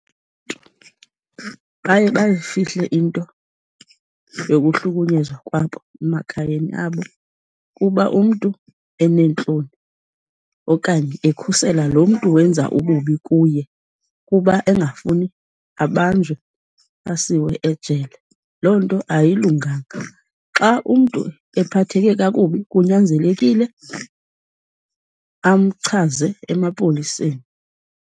Baye bayifihle into yokuhlunyezwa kwabo emakhayeni abo kuba umntu eneentloni, okanye ekhusela lo mntu wenza ububi kuye kuba engafuni abanjwe, asiwe ejele. Loo nto ayilunganga. Xa umntu ephatheke kakubi kunyanzelekile amchaze emapoliseni.